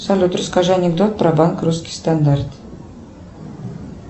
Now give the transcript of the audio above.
салют расскажи анекдот про банк русский стандарт